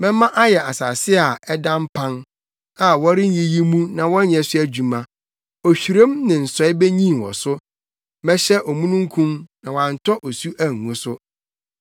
Mɛma ayɛ asase a ɛda mpan a worenyiyi mu na wɔnyɛ so adwuma, ohwirem ne nsɔe benyin wɔ so. Mɛhyɛ omununkum na wantɔ osu angu so.”